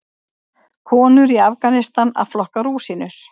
Konur í Afganistan að flokka rúsínur.